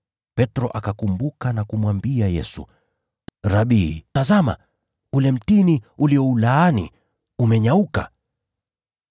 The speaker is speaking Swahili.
Petro akakumbuka na kumwambia Yesu, “Rabi, tazama! Ule mtini ulioulaani umenyauka!”